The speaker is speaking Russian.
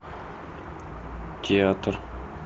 театр